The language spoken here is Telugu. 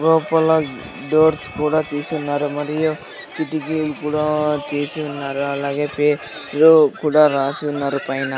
లోపల డోర్స్ కూడా తీసున్నారు మరియు కిటికీలు కూడా తీసి ఉన్నారు అలాగే పేర్లు కూడా రాసి ఉన్నారు పైన.